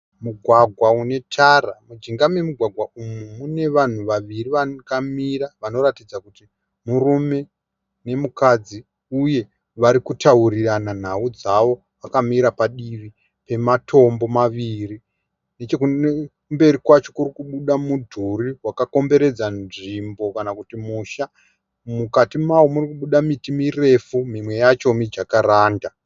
Mugwagwa unetara mujinga memugwagwa umu munevanhu vaviri vakamira vanoratidza kuti murume nemukadzi uye varikutarirana nhau dzavo vakamira padivi pematombo maviri. Nechekumberi kwacho kurikubuda mudhuri wakakomberedza nzvimbo kana kuti musha. Mukati mawo murikubuda miti murefu, mimwe yacho mijakaranda.